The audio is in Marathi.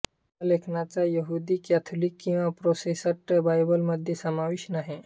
या लेखनाचा यहुदी कॅथोलिक किवा प्रोटेसटट बायबलमध्ये समावेश नाही